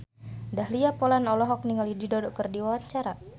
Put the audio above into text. Dahlia Poland olohok ningali Dido keur diwawancara